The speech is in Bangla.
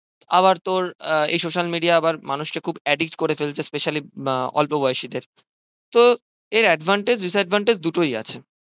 আবার তোর এই social media মানুষ কে খুব addict করে ফেলছে specially অল্প বয়সীদের তো এর advantage disadvantage দুটোই আছে